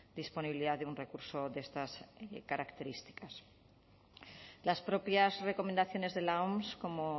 disponibilidad de un recurso de estas características las propias recomendaciones de la oms como